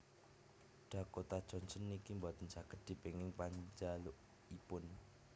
Dakota Johnson niki mboten saget dipenging panjalukipun